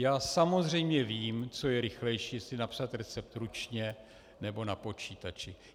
Já samozřejmě vím, co je rychlejší, jestli napsat recept ručně, nebo na počítači.